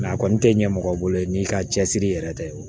a kɔni tɛ ɲɛ mɔgɔ bolo n'i ka cɛsiri yɛrɛ tɛ